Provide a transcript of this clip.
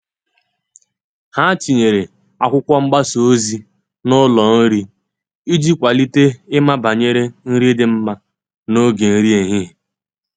Ha tinyere akwụkwo mgbasa ozi n'ụlo nri iji kwalite ịma banyere nri di mma n'oge nri ehihie.